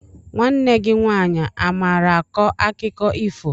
Nwanne gị nwaanyị amaara akọ akụkọ ifo?